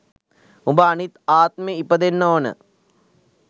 උබ අනිත් ආත්මේ ඉපදෙන්න ඕන